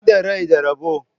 Inda rai da rabo.